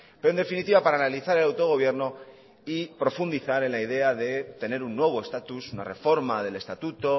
pero en definitiva para analizar el autogobierno y profundizar en la idea de tener un nuevo estatus una reforma del estatuto